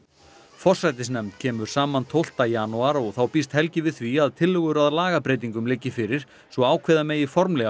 forsætisnefnd kemur saman tólfti janúar og þá býst Helgi við því að tillögur að lagabreytingum liggi fyrir svo ákveða megi formlega